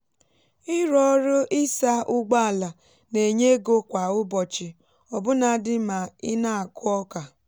ịrụ ọrụ ịsa ụgbọala na-enye ego kwa ụbọchị ọbụnadị ma ị na-akụ ọka